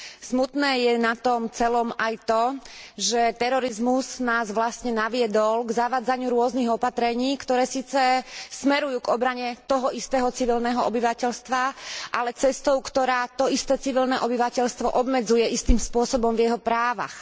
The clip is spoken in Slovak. Smutné je na tom celom aj to, že terorizmus nás vlastne naviedol k zavádzaniu rôznych opatrení, ktoré síce smerujú k obrane toho istého civilného obyvateľstva, ale cestou, ktorá to isté civilné obyvateľstvo obmedzuje istým spôsobom v jeho právach.